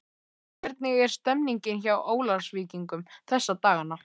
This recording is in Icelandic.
Hvernig er stemmningin hjá Ólafsvíkingum þessa dagana?